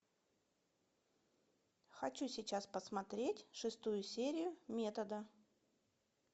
хочу сейчас посмотреть шестую серию метода